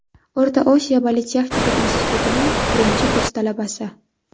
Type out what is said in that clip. O‘rta Osiyo politexnika institutining birinchi kurs talabasi.